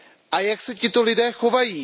A jak se tito lidé chovají?